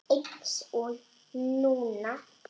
Eins og núna.